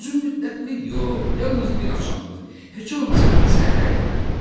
Uzun müddətlik yox, yalnız bir axşamlıq, heç olmasa səhərə qədər.